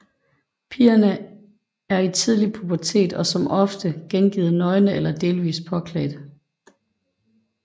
Pigerne er i tidlig pubertet og som oftest gengivet nøgne eller delvis påklædt